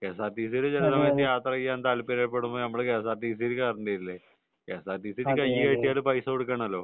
K S R T C യിൽ യാത്ര ചെയ്യാൻ താല്പര്യപ്പെടുമ്പോൾ നമ്മൾ K S R T C യിൽ കേറേണ്ടി വരില്ലേ K S R T C യിൽ കൈകാട്ടിയാൽ പൈസ കൊടുക്കണല്ലോ